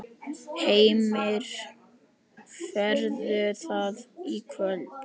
Heimir: Verður það í kvöld?